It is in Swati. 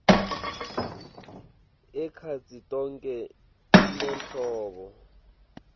ekhatsi tonkhe tinhlobo